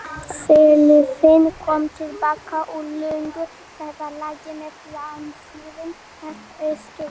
Fyrirliðinn kom til baka úr löngu ferðalagi með landsliðinu, þetta er stórkostlegt.